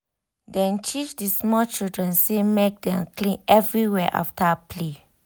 dem teach the small children say make dem clean everywhere after play